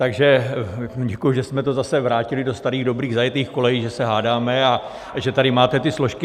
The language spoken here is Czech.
Takže děkuji, že jsme to zase vrátili do starých dobrých zajetých kolejí, že se hádáme a že tady máte ty složky.